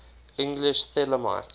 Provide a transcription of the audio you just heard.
english thelemites